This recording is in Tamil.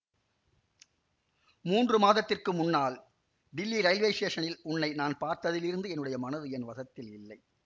மூன்று மாதத்திற்கு முன்னால் டில்லி ரயில்வே ஸ்டேஷனில் உன்னை நான் பார்த்ததிலிருந்து என்னுடைய மனது என் வசத்தில் இல்லை